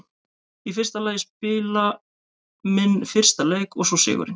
Í fyrsta lagi að spila minn fyrsta leik og svo sigurinn.